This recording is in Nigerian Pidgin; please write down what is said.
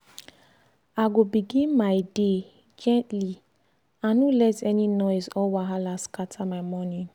i go begin my day gently i no let any noise or wahala scatter my morning.